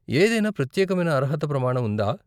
ఏదైనా ప్రత్యేకమైన అర్హత ప్రమాణం ఉందా?